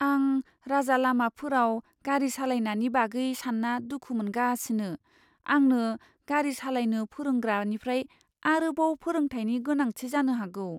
आं राजालामाफोराव गारि सालायनायनि बागै सानना दुखु मोनगासिनो, आंनो गारि सालायनो फोरोंग्रानिफ्राय आरोबाव फोरोंथायनि गोनांथि जानो हागौ।